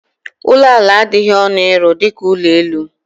Ụlọ ala adịghị ọnụ ịrụ dịka ụlọ elu.